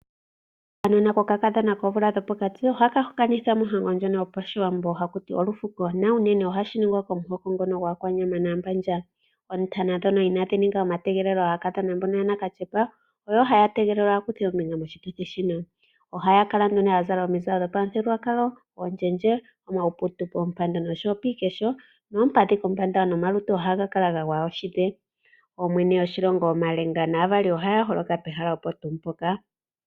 Okanona kokakadhona koomvula dhopokati ohaka hokanithwa mohango ndjono yopashiwambo haku ti wa olufuko na unene ohashi ningwa komuhoko ngono gwAakwanyama nokAambandja. Oontana ndhono inadhi ninga omategelelo, aakadhona mbono yanakatyepa oyo haya tegelelwa ya kuthe ombinga moshituthi shino. Ohaya kala nduno ya zala omizalo dhopamuthigululwakalo, omawe, iiputu poompando nopiikesho, noompadhi kombanda nomalutu ohaga kala ga gwaya oshidhe. Ooyene yoshilongo, omalenga naavali ohaya holoka pehala mpoka.